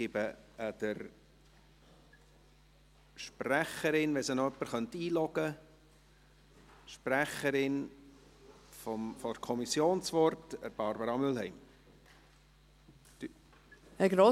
Ich gebe, wenn jemand sie noch einloggen könnte, der Sprecherin der Kommission, Barbara Mühlheim, das Wort.